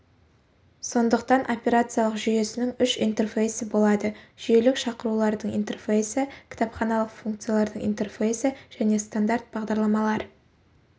сондықтан операциялық жүйесінің үш интерфейсі болады жүйелік шақырулардың интерфейсі кітапханалық функциялардың интерфейсі және стандарт бағдарламалар